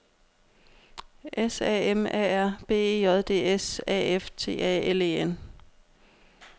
S A M A R B E J D S A F T A L E N